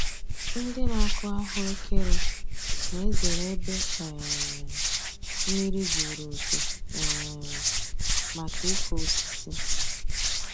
Ndị na-akụ ahụ ekere na-ezere ebe um mmiri zuru oke um maka ịkụ osisi.